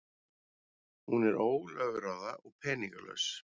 Hún er ólögráða og peningalaus.